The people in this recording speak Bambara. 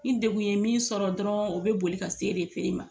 Ni degun ye min sɔrɔ dɔrɔn o bɛ boli ka s'e de ma